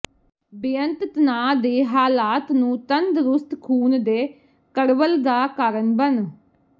ਬੇਅੰਤ ਤਣਾਅ ਦੇ ਹਾਲਾਤ ਨੂੰ ਤੰਦਰੁਸਤ ਖੂਨ ਦੇ ਕਡ਼ਵੱਲ ਦਾ ਕਾਰਨ ਬਣ